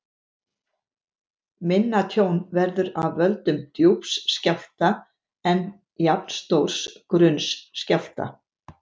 Minna tjón verður af völdum djúps skjálfta en jafnstórs grunns skjálfta.